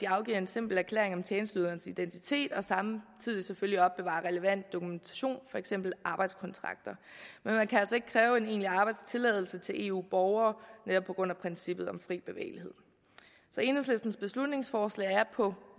afgives en simpel erklæring om tjenesteyderens identitet og samtidig selvfølgelig opbevares relevant dokumentation for eksempel arbejdskontrakter men man kan altså ikke kræve en egentlig arbejdstilladelse til eu borgere netop på grund af princippet om fri bevægelighed så enhedslistens beslutningsforslag er på